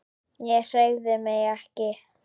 Ég hreyfði mig ekki.